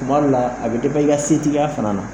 Tuma dɔ la a bɛ i ka setigiya fana na